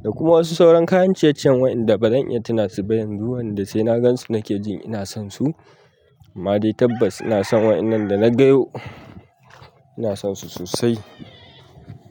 Da kuma wasu sauran kayan ciye-ciyen waɗanda ba zan iya tuna su ba yanzu wanda sai na gan su na ke jin ina son su. Amma dai tabbas ina son waɗan nan da na gayo, ina son su sosai.